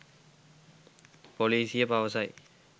පොලිසිය පවසයි